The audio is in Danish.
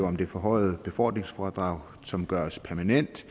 om det forhøjede befordringsfradrag som gøres permanent